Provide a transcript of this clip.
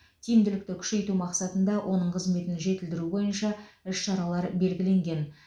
тиімділікті күшейту мақсатында оның қызметін жетілдіру бойынша іс шаралар белгіленген